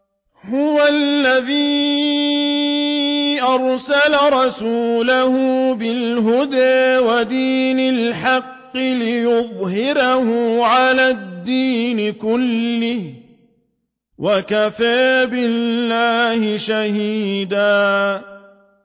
هُوَ الَّذِي أَرْسَلَ رَسُولَهُ بِالْهُدَىٰ وَدِينِ الْحَقِّ لِيُظْهِرَهُ عَلَى الدِّينِ كُلِّهِ ۚ وَكَفَىٰ بِاللَّهِ شَهِيدًا